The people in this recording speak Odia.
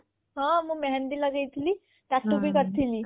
ହଁ ମୁଁ ମେହେଦୀ ଲଗେଇଥିଲି tattoo ଭି କରିଥିଲି